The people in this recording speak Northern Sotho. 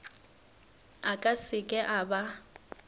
a ka seke a ba